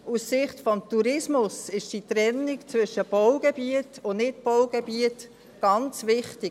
Aus Sicht des Tourismus ist die Trennung zwischen Baugebiet und Nichtbaugebiet ganz wichtig.